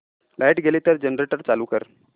light गेली तर generator चालू कर